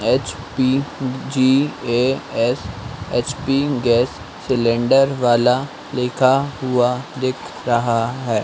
HP G A S H P gas cylinder वाला लिखा हुआ दिख रहा है।